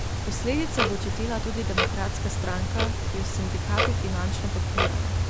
Posledice bo čutila tudi demokratska stranka, ki jo sindikati finančno podpirajo.